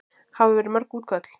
Hafa verið mörg útköll?